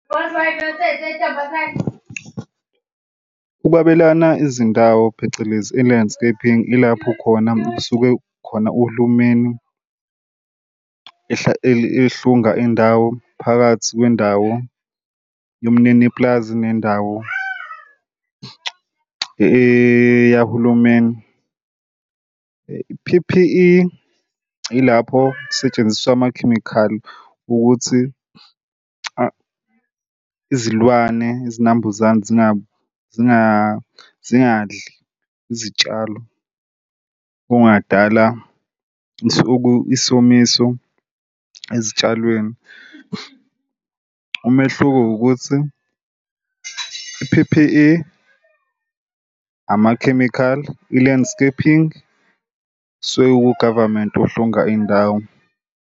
Ukwabelana izindawo phecelezi i-landscaping ilapho khona suke khona uhulumeni ehlunga indawo phakathi kwendawo yomnini pulazi nendawo eyahulumeni. I-P_P_E ilapho kusetshenziswa amakhemikhali ukuthi izilwane izinambuzane zingabi zingadli izitshalo. Okungadala isomiso ezitshalweni. Umehluko ukuthi i-P_P_E amakhemikhali i-landscaping suke ku-government ohlunga indawo.